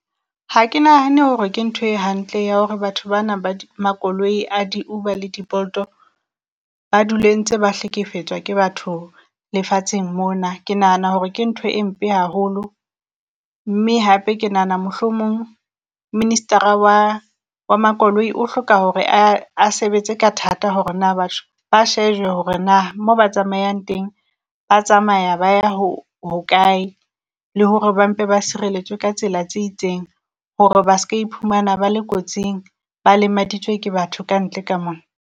Ha ke nahane hore ke ntho e hantle ya hore batho bana ba di makoloi a di-Uber le di-Bolt-o ba dule ntse ba hlekefetswa ke batho lefatsheng mona. Ke nahana hore ke ntho e mpe haholo, mme hape ke nahana mohlomong minister-a wa wa makoloi o hloka hore a a sebetse ka thata hore na batho ba shejwe hore naa mo ba tsamayang teng ba tsamaya ba ya ho hokae, le hore ba mpe ba sireletswe ka tsela tse itseng. Hore ba ska iphumana ba le kotsing, ba lemaditswe ke batho kantle ka mona.